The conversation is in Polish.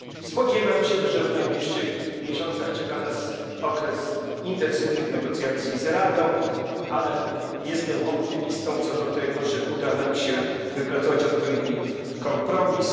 Spodziewam się, że w najbliższych miesiącach czeka nas okres intensywnych negocjacji z Radą, ale jestem optymistą co do tego, że uda nam się wypracować odpowiedni kompromis.